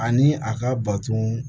Ani a ka bato